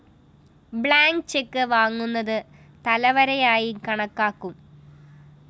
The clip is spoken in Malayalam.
ബ്ലാങ്ക്‌ ചെക്ക്‌ വാങ്ങുന്നത് തലവരിയായി കണക്കാക്കും